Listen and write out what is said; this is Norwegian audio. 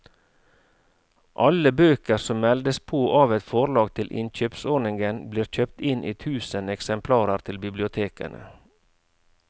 Alle bøker som meldes på av et forlag til innkjøpsordningen blir kjøpt inn i tusen eksemplarer til bibliotekene.